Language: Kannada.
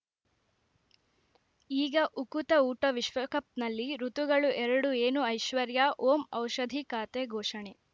ಈಗ ಉಕುತ ಊಟ ವಿಶ್ವಕಪ್‌ನಲ್ಲಿ ಋತುಗಳು ಎರಡು ಏನು ಐಶ್ವರ್ಯಾ ಓಂ ಔಷಧಿ ಖಾತೆ ಘೋಷಣೆ